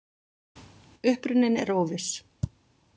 Uppruninn er óviss.